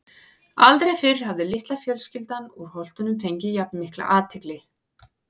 Aldrei fyrr hafði litla fjölskyldan úr Holtunum fengið jafn mikla athygli.